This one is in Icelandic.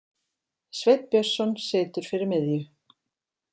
Sveinn Björnsson situr fyrir miðju.